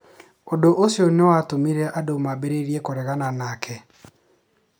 Ũndũ ũcio nĩ watũmire andũ mambĩrĩrie kũregana nake.